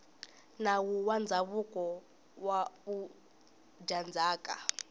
nawu wa ndzhavuko wa vudyandzhaka